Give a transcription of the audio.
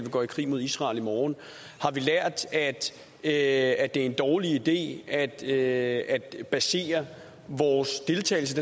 går i krig mod israel i morgen har vi lært at at det er en dårlig idé at at basere vores deltagelse